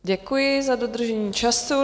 Děkuji za dodržení času.